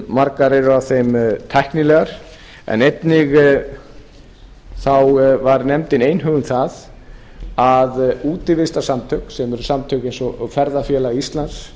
margar af þeim eru tæknilegar en einnig þá var nefndin einhuga um að útivistarsamtök sem eru samtök eins og ferðafélag íslands